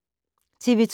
TV 2